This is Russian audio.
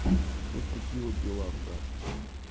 вот такие вот дела брат